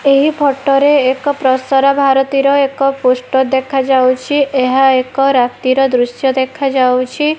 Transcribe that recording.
ଏହି ଫଟୋ ରେ ଏକ ପ୍ରସାର ଭାରତୀର ଏକ ପୋଷ୍ଟର ଦେଖାଯାଉଛି ଏହା ଏକ ରାତିର ଦୃଶ୍ୟ ଦେଖାଯାଉଛି।